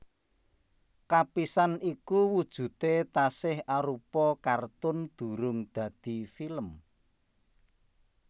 Kapisan iku wujudé tasih arupa kartun durung dadi film